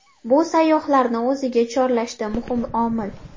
Bu sayyohlarni o‘ziga chorlashda muhim omil.